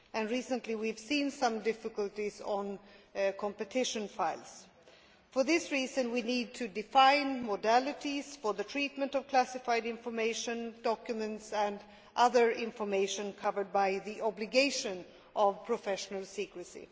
Recently, we have seen some difficulties in relation to competition files. For this reason, we need to define modalities for the treatment of classified information, documents and other information covered by the obligation of professional secrecy.